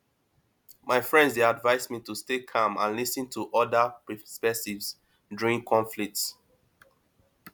my friend dey advise me to stay calm and lis ten to other perspectives during conflicts